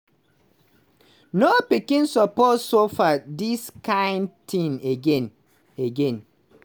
no pikin suppose suffer dis kind tin again." again."